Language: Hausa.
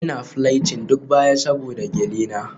Ina plating duk baya saboda gele na.